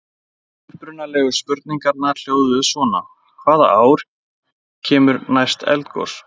Upprunalegu spurningarnar hljóðuðu svona: Hvaða ár kemur næst eldgos?